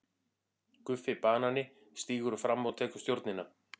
GUFFI BANANI stígur fram og tekur stjórnina.